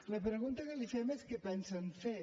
la pregunta que li fem és què pensen fer